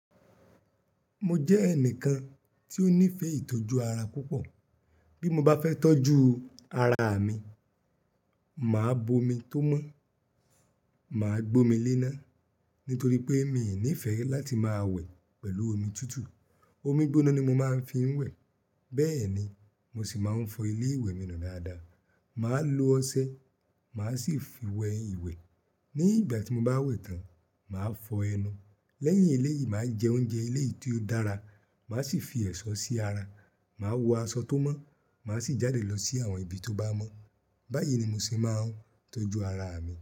Mo jẹ́ ẹnìkan tí ó nífẹ̀ẹ́ ìtọ́jú ara púpọ̀. Bí mo bá fẹ́ tọ́jú ara mi, màá bo omi tó mọ́, màá gbómi léná nítorí pé mi ò nífẹ̀ẹ́ láti máa wẹ̀ pẹ̀lú omi tútù. Omi gbóná ni mo máa ń fi ń wẹ̀. Bẹ́ẹ̀ ni, mo sì máa ń fọ ilé ìwẹ̀ mi nù dáadáa, màá lo ọṣẹ, màá sì fi wẹ ìwẹ̀. Ní ìgbà tí mo bá wẹ̀ tán, màá fọ ẹnu. Lẹ́yìn eléyìí, màá jẹ oúnjẹ eléyìí tí ó dára, màá sì fi ẹ̀ṣọ́ sí ara, màá wọ aṣọ tó mọ́, màá sì jáde lọ sí àwọn ibi tó bá mọ́. Báyìí ni mo se máa ń tọ́jú ara mi.